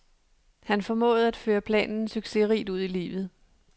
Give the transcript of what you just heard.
Han formåede at føre planen succesrigt ud i livet.